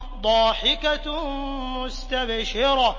ضَاحِكَةٌ مُّسْتَبْشِرَةٌ